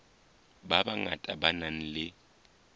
ba bangata ba nang le